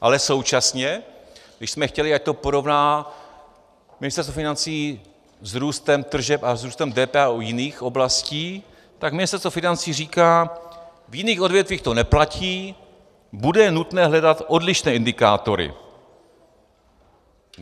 Ale současně, když jsme chtěli, ať to porovná Ministerstvo financí s růstem tržeb a s růstem DPH u jiných oblastí, tak Ministerstvo financí říká: V jiných odvětvích to neplatí, bude nutné hledat odlišné indikátory.